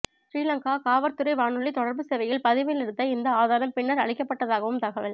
சிறிலங்காகாவற்துறை வானொலி தொடர்பு சேவையில் பதிவில் இருந்த இந்த ஆதாரம் பின்னர் அழிக்கப்பட்டதாகவும்தகவல்